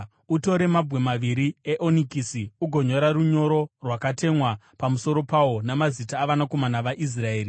“Utore mabwe maviri eonikisi ugonyora runyoro rwakatemwa pamusoro pawo mazita avanakomana vaIsraeri